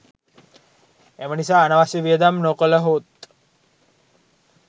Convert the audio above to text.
එම නිසා අනවශ්‍ය වියදම් නොකළහොත්